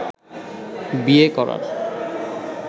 বিয়ে করার